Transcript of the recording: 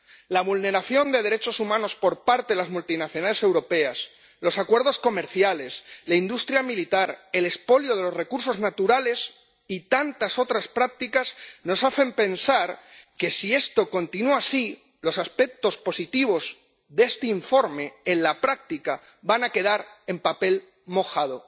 La vulneración de los derechos humanos por parte de las multinacionales europeas, los acuerdos comerciales, la industria militar, el expolio de los recursos naturales y tantas otras prácticas nos hacen pensar que si esto continúa así los aspectos positivos de este informe en la práctica van a quedar en papel mojado.